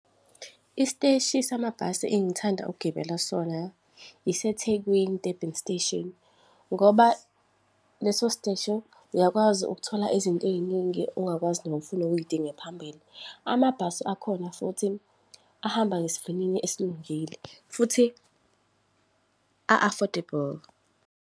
Isiteshi samabhasi engithanda ukugibela sona, iseThekwini, Durban Station, ngoba leso steshi, uyakwazi ukuthola izinto ey'ningi ungakwazi noma ufuna uy'dinge phambili. Amabhasi akhona futhi ahamba ngesivinini esilungile, futhi a-affordable.